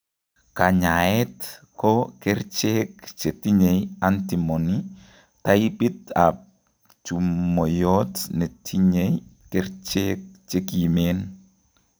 Kanyaeet ko kercheek chetinye antimony taipit ab chumoiyot netinye kercheek chekimeen